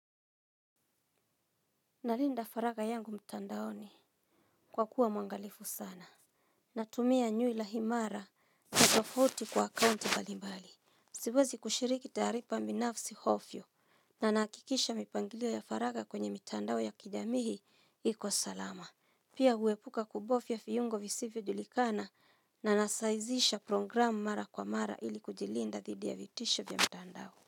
Nalinda faraga yangu mtandaoni kwa kuwa mwangalifu sana. Natumia nywila imara na tofauti kwa akaunti mbalimbali. Siwezi kushiriki taarifa binafsi ovyo na nahakikisha mipangilio ya faraga kwenye mitandao ya kijamii iko salama. Pia huepuka kubofya viungo visivyo julikana na nasaizisha programu mara kwa mara ili kujilinda dhidi ya vitisho vya mtandao.